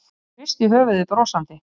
Hún hristi höfuðið brosandi.